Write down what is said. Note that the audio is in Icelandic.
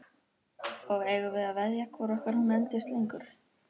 Og eigum við að veðja hvoru okkar hún endist lengur?